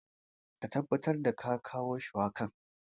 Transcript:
Ka tabbatar da kawo shuwakan.